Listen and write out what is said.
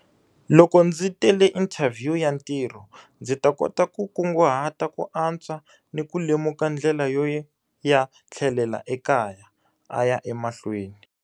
Loko ndzi tele inthavhiyu ya ntirho, ndzi ta kota ku kunguhata ku antswa ni ku lemuka ndlela yo ya tlhelela ekaya, a ya emahlweni.